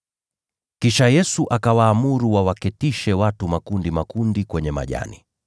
Kisha Yesu akawaamuru wawaketishe watu makundi makundi kwenye majani,